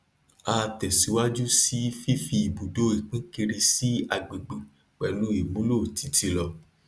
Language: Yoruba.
a tẹsíwájú sí fífi ibùdó ipinkiri sí agbègbè pẹlú ìmúlò títílọ